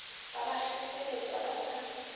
ba ba kgeseletša ba sa